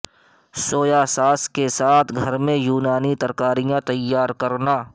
سویا sauce کے ساتھ گھر میں یونانی ترکاریاں تیار کرنا